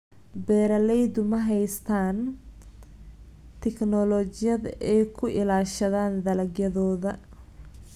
Beeraleydu ma haystaan ??tignoolajiyad ay ku ilaashadaan dalagyadooda.